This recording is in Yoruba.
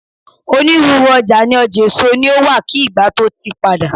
onírúurú oja ni ọjà èso ni o wa ki ìgbà to ti pada